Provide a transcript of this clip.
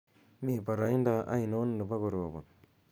mi boroindo ainon nebo korobon